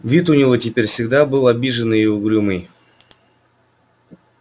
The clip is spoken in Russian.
вид у него теперь всегда был обиженный и угрюмый